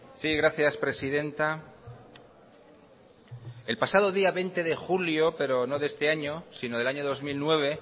sí gracias presidenta el pasado día veinte de julio pero no este año sino del año dos mil nueve